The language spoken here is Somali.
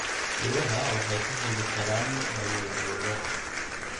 Idaha waxay ka hadli karaan awoodooda.